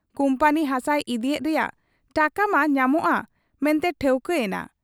ᱠᱩᱢᱯᱟᱹᱱᱤ ᱦᱟᱥᱟᱭ ᱤᱫᱤᱭᱮᱫ ᱨᱮᱭᱟᱜ ᱴᱟᱠᱟᱢᱟ ᱧᱟᱢᱚᱜ ᱟ ᱢᱮᱱᱛᱮ ᱴᱷᱟᱹᱣᱠᱟᱹ ᱭᱮᱱᱟ ᱾